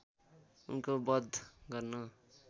उनको वध गर्न